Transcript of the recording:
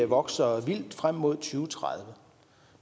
vokser vildt frem mod to tusind og tredive